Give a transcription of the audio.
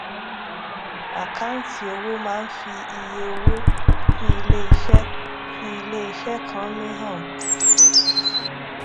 àkáǹtì owó máá ń fi iye owó tí iléeṣẹ tí iléeṣẹ kan ní han